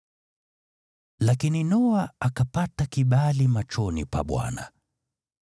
Lakini Noa akapata kibali machoni pa Bwana .